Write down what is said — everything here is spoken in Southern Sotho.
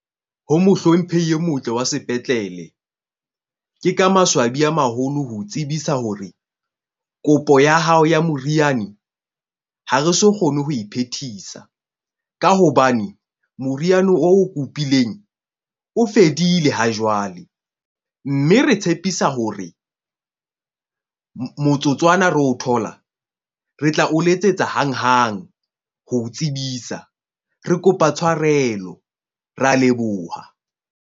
Ho mohlomphehi e motle wa sepetlele. Ke ka maswabi a maholo ho tsebisa hore kopo ya hao ya moriane ha re so kgone ho iphethisa. Ka hobane moriana o kopileng o fedile ha jwale. Mme re tshepisa hore motsotswana re o thola. Re tla o letsetsa hanghang ho tsebisa. Re kopa tshwarelo. Re a leboha.